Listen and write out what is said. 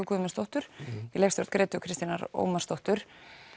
Guðmundsdóttur í leikstjórn Grétu Kristínar Ómarsdóttur